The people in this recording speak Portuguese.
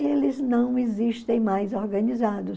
Eles não existem mais organizados.